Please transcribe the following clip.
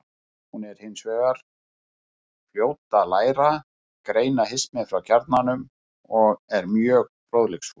Hún er hins vegar fljót að læra, greina hismið frá kjarnanum og er mjög fróðleiksfús.